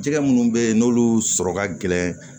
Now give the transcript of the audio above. Jɛgɛ minnu bɛ yen n'olu sɔrɔ ka gɛlɛn